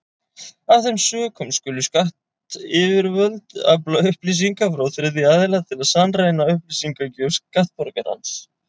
Af þeim sökum skulu skattyfirvöld afla upplýsinga frá þriðja aðila til að sannreyna upplýsingagjöf skattborgarans.